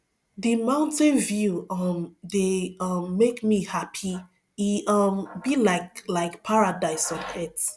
di mountain view um dey um make my me hapi e um be like like paradise on earth